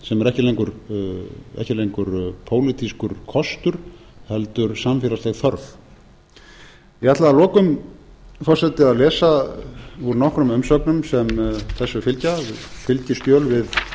sem er ekki lengur pólitískur kostur heldur samfélagsleg þörf ég ætla að lokum forseti að lesa úr nokkrum umsögnum sem þessu fylgja fylgiskjöl